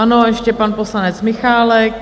Ano, ještě pan poslanec Michálek.